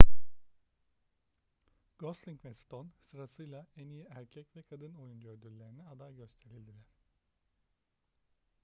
gosling ve stone sırasıyla en i̇yi erkek ve kadın oyuncu ödüllerine aday gösterildiler